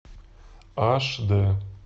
аш дэ